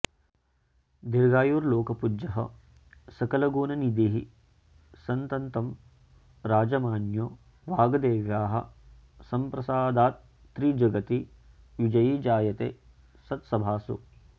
दीर्घायुर्लोकपूज्यः सकलगुणनिधिः सन्ततं राजमान्यो वाग्देव्याः सम्प्रसादात्त्रिजगति विजयी जायते सत्सभासु